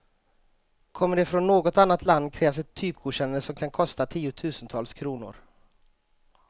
Kommer de från något annat land krävs ett typgodkännande som kan kosta tiotusentals kronor.